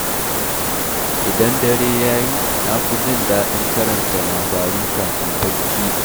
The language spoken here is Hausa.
Idan dare ya yi, na fi jin daɗin karanta labaru kafin barci.